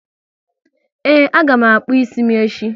Ee, a ga m akpụ ịsị m echi